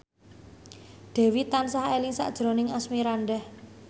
Dewi tansah eling sakjroning Asmirandah